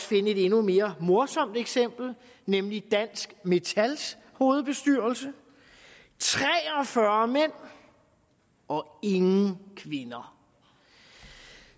finde et endnu mere morsomt eksempel nemlig dansk metals hovedbestyrelse tre og fyrre mænd og ingen kvinder